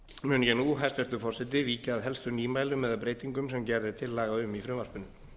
mun ég nú hæstvirtur forseti víkja að helstu nýmælum eða breytingum sem gerð er tillaga um í frumvarpinu